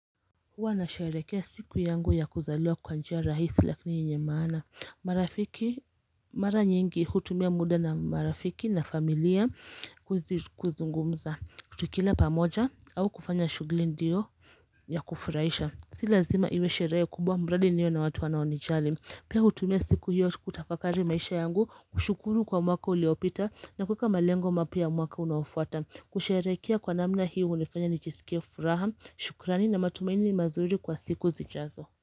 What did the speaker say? Huwa na sherekea siku yangu ya kuzaliwa kwa njia rahisi lakini yenye maana marafiki mara nyingi hutumia muda na marafiki na familia kuzungumza tukila pamoja au kufanya shugli ndiyo ya kufurahisha Si lazima iwe sherehe kubwa mradi niyo na watu wanaonijali Pia hutumia siku hiyo kutafakari maisha yangu kushukuru kwa mwaka uliopita na kueka malengo mapya ya mwaka unaofuata kusherekea kwa namna hii unifanya ni jisikia furaha shukrani na matumaini mazuri kwa siku zichazo.